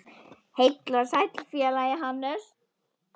Heill og sæll félagi Hannes!